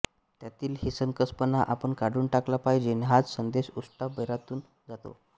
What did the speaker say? त्यातील हिणकसपणा आपण काढून टाकला पाहिजे हाच संदेश उष्ट्या बोरातून जातो